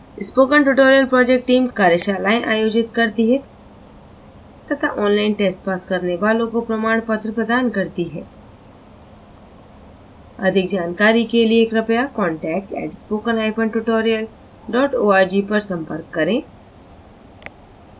spoken tutorial project team कार्यशालाएं आयोजित करती है तथा ऑनलाइन टेस्ट पास करने वालों को प्रमाण पत्र प्रदान करती है अधिक जानकारी के लिए कृपया contact @spokentutorial org पर संपर्क करें